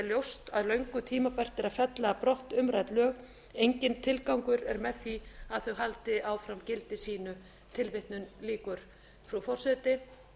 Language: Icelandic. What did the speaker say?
ljóst að löngu tímabært er að fella brott umrædd lög enginn tilgangur er með því að þau haldi áfram gildi sínu frú forseti